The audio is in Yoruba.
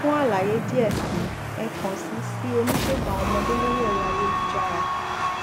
fún àlàyé díẹ si ẹ kàn sí sí oníṣègùn àwon ọmọdé lórí ẹrọ ayélujára